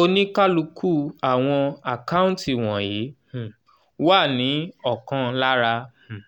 oníkálukú àwọn àkáǹtí wọ̀nyí um wà ní ọ̀kan lára um